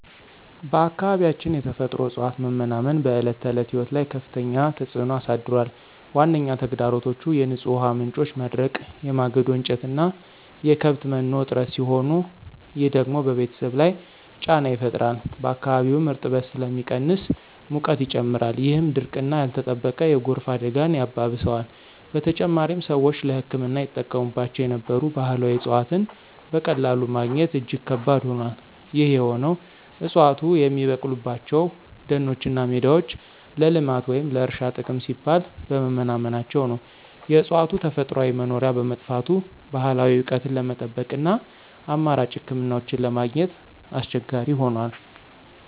በአካባቢያችን የተፈጥሮ እፅዋት መመናመን በዕለት ተዕለት ሕይወት ላይ ከፍተኛ ተጽዕኖ አሳድሯል። ዋነኛ ተግዳሮቶቹ የንጹህ ውሃ ምንጮች መድረቅ፣ የማገዶ እንጨትና የከብት መኖ እጥረት ሲሆኑ፣ ይህ ደግሞ በቤተሰብ ላይ ጫና ይፈጥራል። በአካባቢውም እርጥበት ስለሚቀንስ ሙቀት ይጨምራል፣ ይህም ድርቅና ያልተጠበቀ የጎርፍ አደጋን ያባብሰዋል። በተጨማሪም፣ ሰዎች ለሕክምና ይጠቀሙባቸው የነበሩ ባህላዊ እፅዋትን በቀላሉ ማግኘት እጅግ ከባድ ሆኗል። ይህ የሆነው ዕፅዋቱ የሚበቅሉባቸው ደኖችና ሜዳዎች ለልማት ወይም ለእርሻ ጥቅም ሲባል በመመናመናቸው ነው። የእፅዋቱ ተፈጥሯዊ መኖሪያ በመጥፋቱ፣ ባህላዊ እውቀትን ለመጠበቅና አማራጭ ሕክምናዎችን ለማግኘት አስቸጋሪ ሆኗል።